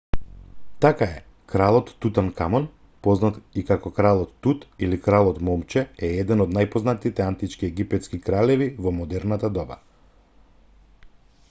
така е кралот тутанкамон познат и како кралот тут или кралот момче е еден од најпознатите антички египетски кралеви во модерното доба